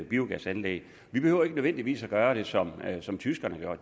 biogasanlæg vi behøver ikke nødvendigvis gøre det som som tyskerne har